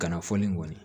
Kana fɔli kɔni